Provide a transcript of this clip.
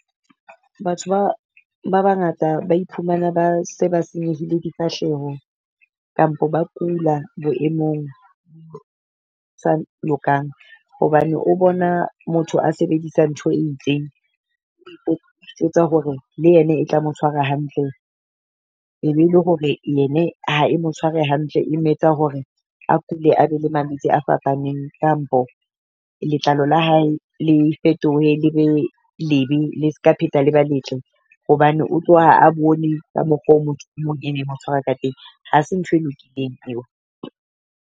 Batho ba ba bangata ba iphumana ba se ba senyehile difahleho, kampo ba kula boemong sa lokang. Hobane o bona motho a sebedisa ntho e itseng o itjwetsa hore le yene e tla mo tshwara hantle. E be le hore yene ha e mo tshware hantle, e me etsa hore a kule a be le malwetsi a fapaneng. Kampo letlalo la hae le fetohe le be lebe le ska pheta le ba letle, hobane o tlo ha a bone ka mokgwa o motho ene e mo tshwara ka teng. Ha se ntho e lokileng eo.